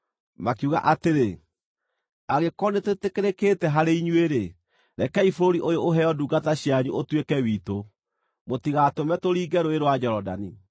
Makiuga atĩrĩ, “Angĩkorwo nĩtwĩtĩkĩrĩkĩte harĩ inyuĩ-rĩ, rekei bũrũri ũyũ ũheo ndungata cianyu ũtuĩke witũ. Mũtigatũme tũringe Rũũĩ rwa Jorodani.”